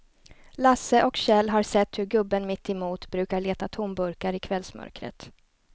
Lasse och Kjell har sett hur gubben mittemot brukar leta tomburkar i kvällsmörkret.